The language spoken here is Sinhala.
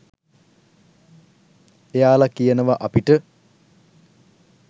එයාල කියනව අපිට